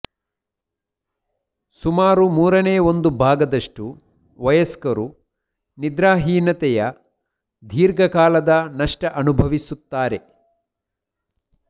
ಸುಮಾರು ಮೂರನೇ ಒಂದು ಭಾಗದಷ್ಟು ವಯಸ್ಕರು ನಿದ್ರಾಹೀನತೆಯ ದೀರ್ಘಕಾಲದ ನಷ್ಟ ಅನುಭವಿಸುತ್ತಾರೆ